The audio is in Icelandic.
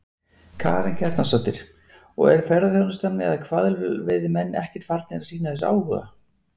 Karen Kjartansdóttir: Og er ferðaþjónustan eða hvalveiðimenn ekkert farnir að sýna þessu áhuga?